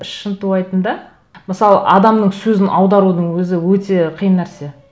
шынтуайтында мысалы адамның сөзін аударудың өзі өте қиын нәрсе